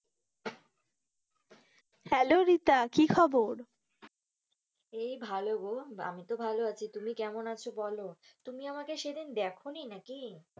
Hello Rita কি খবর? এই ভালো গো আমি তো ভালো আছি, তুমি কেমন আছো বোলো? তুমি আমাকে সেদিন দেখোনি নাকি?